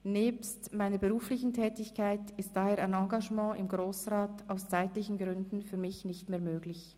Nebst meiner beruflichen Tätigkeit ist daher ein Engagement im Grossen Rat aus zeitlichen Gründen für mich nicht mehr möglich.